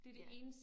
Ja